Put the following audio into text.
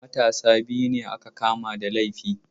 Matasa biyu aka kama da laifi.